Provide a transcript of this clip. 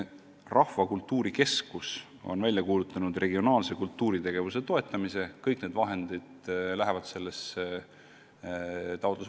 Rahvakultuuri Keskus on välja kuulutanud regionaalse kultuuritegevuse toetamise, kõik need summad lähevad sellesse taotlusvooru.